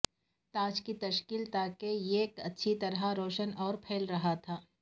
تاج کی تشکیل تاکہ یہ اچھی طرح روشن اور پھیل رہا تھا